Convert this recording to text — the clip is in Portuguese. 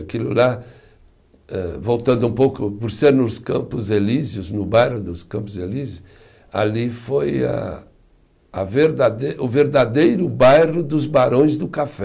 Aquilo lá, eh voltando um pouco, por ser nos Campos Elíseos, no bairro dos Campos Elíseos, ali foi a a verdadei, o verdadeiro bairro dos Barões do Café.